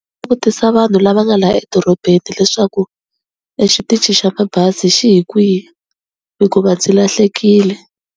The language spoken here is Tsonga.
Vutisa vanhu lava nga la edorobeni leswaku exitichini xa mabazi xi hi kwihi hikuva ndzi lahlekile.